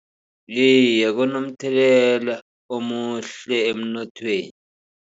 Iye, kunomthelela omuhle emnothweni.